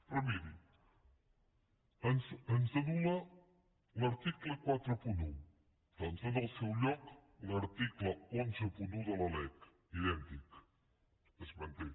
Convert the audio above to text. però miri ens anul·la l’article quaranta un doncs en el seu lloc l’article cent i onze de la lec idèntic es manté